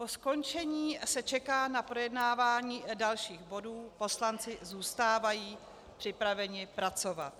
Po skončení se čeká na projednávání dalších bodů, poslanci zůstávají připraveni pracovat.